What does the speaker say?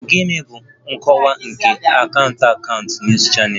Gịnị bụ nkọwa nke Akaụntụ Akaụntụ na News Channel?